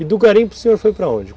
E do garimpo o senhor foi para onde?